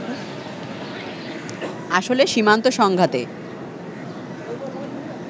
আসলে সীমান্ত সংঘাতে